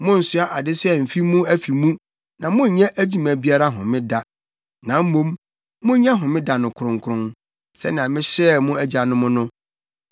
Monnsoa adesoa mfi mo afi mu na monnyɛ adwuma biara Homeda, na mmom monyɛ Homeda no kronkron, sɛnea mehyɛɛ mo agyanom no.